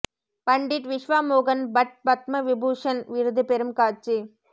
பண்டிட் விஷ்வா மோகன் பட் பத்ம விபூஷன் விருது பெறும் காட்சி